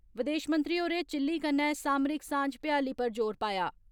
विदेश मंत्री होरें चिल्ली कन्नै सामरिक सांझ भ्याली पर जोर पाया